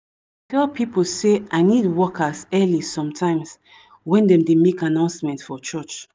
i dey tell pipo say i need workers early sometimes when dem dey make announcement for church